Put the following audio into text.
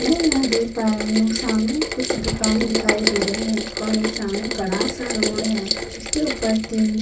मै यहाँ देख पा रही हूँ सामने कुछ दुकान दिखाई दे रहे हैं और एक सामने बडा सा रोड है उसके ऊपर तीन --